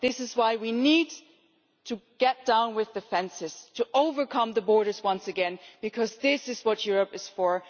This is why we need to pull down the fences and to overcome the borders once again, because this is what Europe is for.